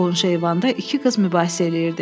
Qonşu eyvanda iki qız mübahisə eləyirdi.